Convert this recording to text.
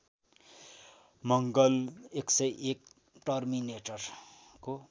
मडल १०१ टर्मिनेटरको